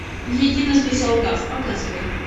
единожды солгав показывай